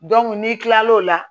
n'i kilal'o la